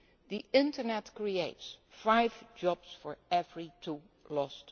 jobs. The internet creates five jobs for every two jobs